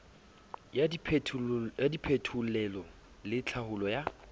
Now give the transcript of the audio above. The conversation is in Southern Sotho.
ya diphetolelo le tlhaolo ya